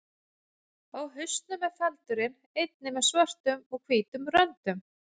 Á hausnum er feldurinn einnig með svörtum og hvítum röndum.